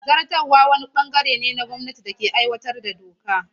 Zartarwa wani ɓangare ne na gwamnati da ke aiwatar da doka.